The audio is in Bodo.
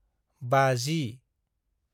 50